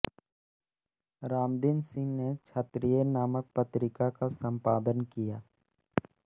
रामदीन सिंह ने क्षत्रिय नामक पत्रिका का सम्पादन किया